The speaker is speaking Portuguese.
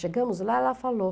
Chegamos lá, ela falou.